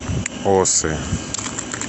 осы